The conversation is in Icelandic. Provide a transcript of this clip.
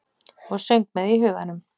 Og söng með í huganum.